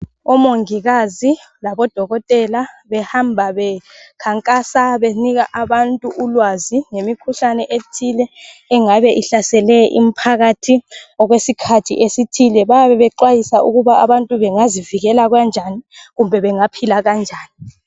Omongikazi laboDokotela behamba bekhankasa benika ulwazi ngemikhuhlane ethile engabe ihlasele imphakathi okwesithi esithile. Bayabe bexwayisa ukuba abantu bengazivikela kanjani kumbe bengaphila kanjani.